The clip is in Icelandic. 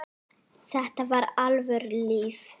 Þetta var alvöru líf.